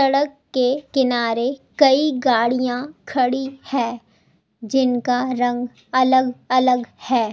सड़क के किनारे कई गाड़ियां खड़ी है जिनका रंग अलग-अलग है।